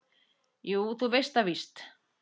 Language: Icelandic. Jú, þú veist það víst.